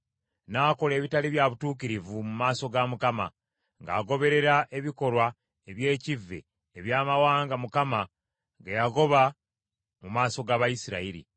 N’akola ebitaali bya butuukirivu mu maaso ga Mukama , ng’agoberera ebikolwa eby’ekivve eby’amawanga Mukama ge yagoba mu maaso g’Abayisirayiri.